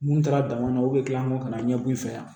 Mun taara dama na u bɛ kila kɔ ka na ɲɛbɔ i fɛ yan